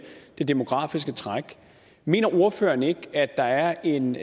det demografiske træk mener ordføreren ikke at der er en